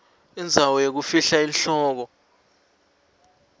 indzawo yekufihla inhloko